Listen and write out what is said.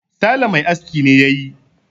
sale Mai aski ne ya yi